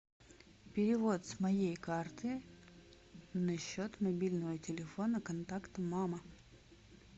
перевод с моей карты на счет мобильного телефона контакт мама